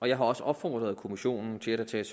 jeg har også opfordret kommissionen til at der tages